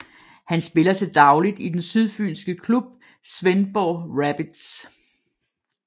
Han spiller til dagligt i den sydfynske klub Svendborg Rabbits